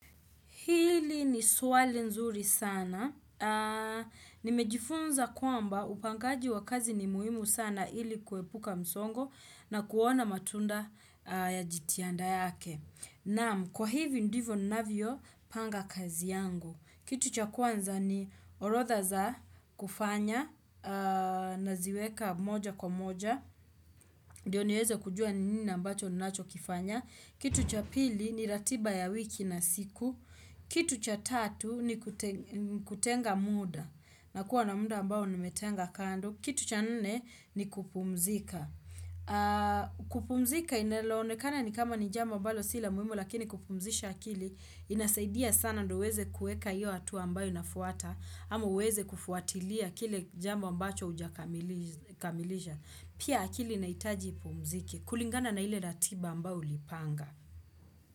Hili ni swali nzuri sana. Nimejifunza kwamba upangaji wa kazi ni muhimu sana ili kuepuka msongo na kuona matunda ya jitihanda yake. Naam, kwa hivi ndivyo ninavyo panga kazi yangu. Kitu cha kwanza ni orodha za kufanya na ziweka moja kwa moja. Ndo niweze kujua ni nina ambacho ninacho kifanya. Kitu cha pili ni ratiba ya wiki na siku. Kitu cha tatu ni ni kutenga mda na kuwa na muda ambao nimetenga kando Kitu cha nne ni kupumzika kupumzika inelonekana ni kama ni jambo ambalo si la muhimu Lakini kupumzisha akili inasaidia sana ndo uweze kueka iyo hatua ambayo inafuata ama uweze kufuatilia kile jambo ambacho hujakamiliz kamilisha, pia akili inahitaji ipumzike kulingana na ile ratiba ambao ulipanga.